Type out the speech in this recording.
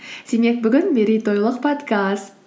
демек бүгін мерейтойлық подкаст